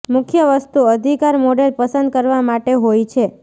મુખ્ય વસ્તુ અધિકાર મોડેલ પસંદ કરવા માટે હોય છે